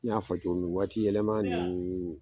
I y'a fɔ cogo min wagati yɛlɛma ninnu.